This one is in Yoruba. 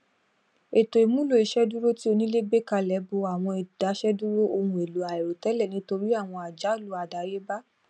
ètò ìmùlò ìṣèdúró tí onílé gbé kalẹ bo àwọn idaseduro ohun èlò àìròtẹlẹ nítorí àwọn àjálù àdáyébá